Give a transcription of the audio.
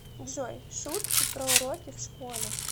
джой шутки про уроки в школе